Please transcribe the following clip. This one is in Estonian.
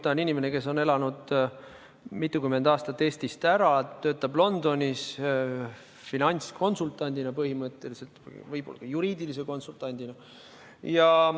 Ta on inimene, kes on elanud mitukümmend aastat Eestist ära, töötab Londonis finantskonsultandina põhimõtteliselt, juriidilise konsultandina.